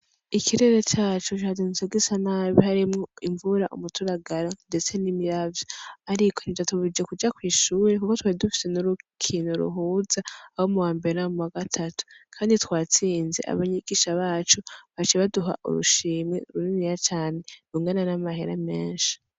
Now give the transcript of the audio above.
Ikirere cacu shaza intsoga isa nabi harimwo imvura umuturagara, ndetse n'imiravyo, ariko nti ja tubije kuja kw'ishuri, kuko twedufise n'urukinto ruhuza abo mu bamber namu wa gatatu, kandi twatsinze abanyigisha bacu bacibaduha urushimi ruriniya cane rungana n'amahera menshi.